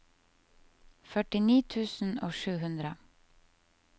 førtini tusen og sju hundre